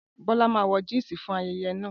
Bola má wọ̀ Jínsì fún ayẹyẹ na